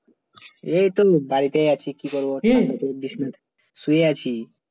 এই তো বাড়িতে আছি কি করব শুয়ে আছি